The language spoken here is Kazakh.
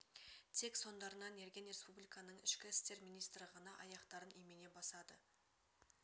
тек соңдарынан ерген республиканың ішкі істер министрі ғана аяқтарын имене басады